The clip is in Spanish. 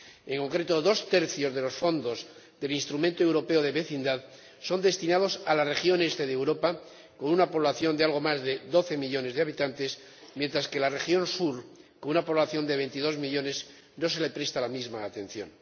En concreto, dos tercios de los fondos del Instrumento Europeo de Vecindad son destinados a la región este de Europa, con una población de algo más de 12 millones de habitantes, mientras que a la región sur, con una población de 22 millones, no se le presta la misma atención.